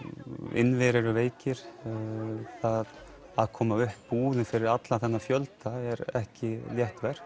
innviðir eru veikir að koma upp búðum fyrir allan þennan fjölda er ekki létt verk